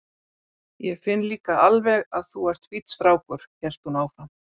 Ég finn líka alveg að þú ert fínn strákur, hélt hún áfram.